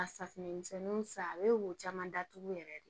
A safunɛ misɛnninw san a bɛ wo caman datugu yɛrɛ de